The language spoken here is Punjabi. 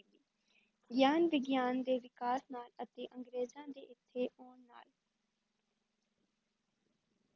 ਗਿਆਨ ਵਿਗਿਆਨ ਦੇ ਵਿਕਾਸ ਨਾਲ ਅਤੇ ਅੰਗਰੇਜ਼ਾਂ ਦੇ ਇੱਥੇ ਆਉਣ ਨਾਲ।